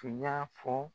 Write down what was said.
Tun y'a fɔ